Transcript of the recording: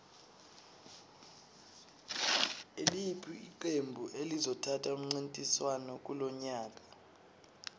iliphi iqembu elizothatha umncintiswano kulonyaka